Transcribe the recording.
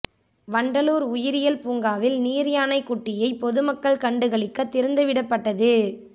வண்டலூர் உயிரியல் பூங்காவில் நீர்யானை குட்டியை பொதுமக்கள் கண்டுகளிக்க திறந்து விடப்பட்டது